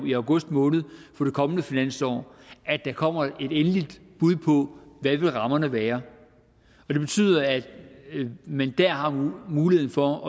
i august måned for det kommende finansår at der kommer et endeligt bud på hvad rammerne vil være og det betyder at man der har en mulighed for